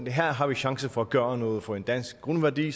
her har vi chancen for at gøre noget for en dansk grundværdi